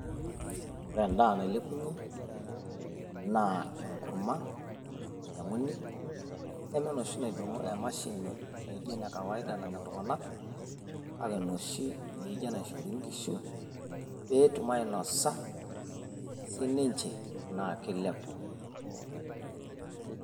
ore edaa nailepunye naa enkurma nainyiang'uni, neme enoshi naidong'o emashini ene kawaida nanya iltung'anak, kake enoshi naijo enaishori nkishu. pee etum ainosa sii ninche .naa kilepu.